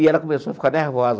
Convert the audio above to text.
E ela começou a ficar nervosa.